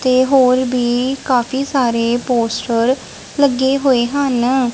ਤੇ ਹੋਰ ਵੀ ਕਾਫੀ ਸਾਰੇ ਪੋਸਟਰ ਲੱਗੇ ਹੋਏ ਹਨ ਨ।